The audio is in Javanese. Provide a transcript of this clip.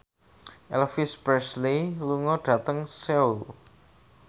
Elvis Presley lunga dhateng Seoul